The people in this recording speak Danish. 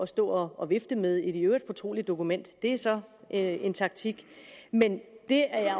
stå og vifte med et i øvrigt fortroligt dokument det er så en taktik men jeg er